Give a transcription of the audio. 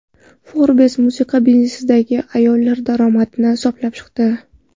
Forbes musiqa biznesidagi ayollar daromadini hisoblab chiqdi .